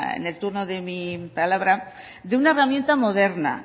en el turno de mi palabra de una herramienta moderna